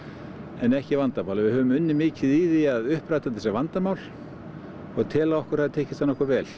en ekki vandamál við höfum unnið mikið í því að uppræta þetta sem vandamál og tel að okkur hafi tekist það nokkuð vel